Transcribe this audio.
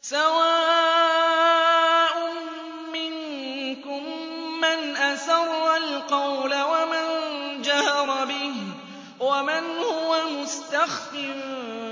سَوَاءٌ مِّنكُم مَّنْ أَسَرَّ الْقَوْلَ وَمَن جَهَرَ بِهِ وَمَنْ هُوَ مُسْتَخْفٍ